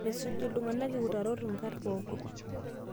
Mesuj iltung'ana utarot nkat kumok